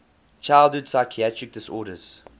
childhood psychiatric disorders